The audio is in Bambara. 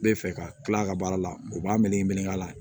Bɛ fɛ ka kila a ka baara la u b'a melegenin k'a la